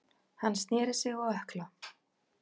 Hann snéri sig á ökkla.